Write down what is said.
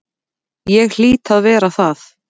Ég hlýt að vera það.